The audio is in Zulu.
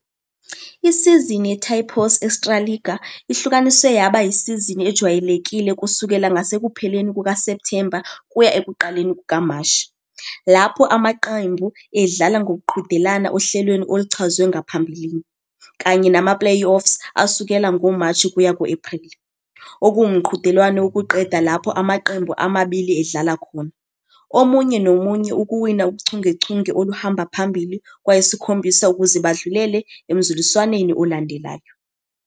Isizini ye-Tipos Extraliga ihlukaniswe yaba isizini ejwayelekile kusukela ngasekupheleni kukaSepthemba kuya ekuqaleni kukaMashi, lapho amaqembu edlala ngokuqhudelana ohlelweni oluchazwe ngaphambilini, kanye nama- playoffs asukela ngoMashi kuya ku-April, okuwumqhudelwano wokuqeda lapho amaqembu amabili edlala khona. omunye nomunye ukuwina uchungechunge oluhamba phambili kwayisikhombisa ukuze badlulele emzuliswaneni olandelayo.